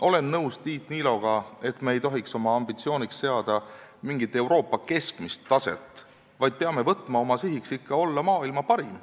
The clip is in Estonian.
Olen nõus Tiit Niiloga, et me ei tohiks oma ambitsiooniks seada Euroopa keskmist taset, vaid peame oma sihiks võtma olla ikka maailma parim.